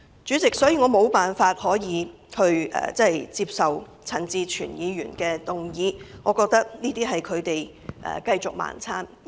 主席，我無法接受陳志全議員的議案，這是他們一再"盲撐"的表現。